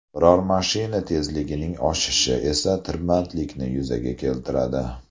Biror mashina tezligining oshishi esa tirbandlikni yuzaga keltiradi.